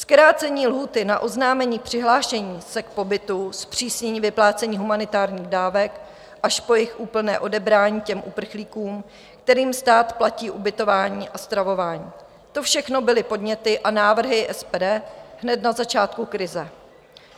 Zkrácení lhůty na oznámení přihlášení se k pobytu, zpřísnění vyplácení humanitárních dávek až po jejich úplné odebrání těm uprchlíkům, kterým stát platí ubytování a stravování - to všechno byly podněty a návrhy SPD hned na začátku krize.